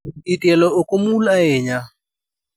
I tielo ok omul ahinya.